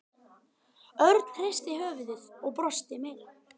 Örn hristi höfuðið og brosti meira.